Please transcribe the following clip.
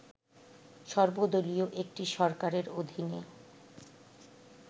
সর্বদলীয় একটি সরকারের অধীনে